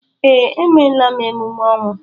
Ee, emela m emume ọnwụ